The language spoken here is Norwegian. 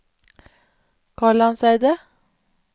Kalandseidet